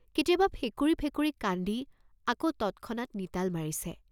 কেতিয়াবা ফেকুৰি ফেকুৰি কান্দি আকৌ তৎক্ষণাৎ নিতাল মাৰিছে।